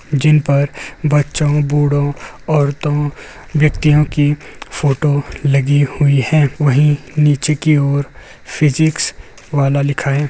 जिन पर बच्चो बूढ़ो औरतो व्यक्तियों की फोटो लगी हुए हैं। वही नीचे की ओर फिजिक्स वल्लाह लिखा है।